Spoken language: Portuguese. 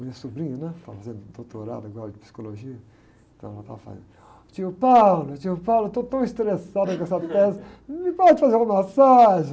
Minha sobrinha, né? Está fazendo doutorado de psicologia, então ela estava falando, tio, tio, estou tão estressada com essa tese, não me pode fazer uma massagem?